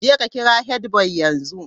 Jeka kira headboy yanzu!